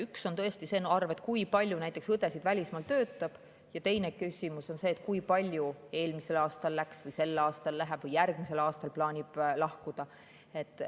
Üks on tõesti see arv, kui palju näiteks õdesid välismaal töötab, ja teine küsimus on see, kui palju eelmisel aastal läks või sel aastal läheb või järgmisel aastal plaanib lahkuda.